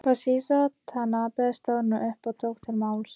Toshizo Tanabe stóð nú upp og tók til máls.